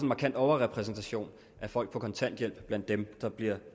markant overrepræsentation af folk på kontanthjælp blandt dem der bliver